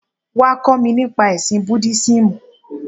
Wá, kó mi nípa ẹ̀sìn Búdísímù.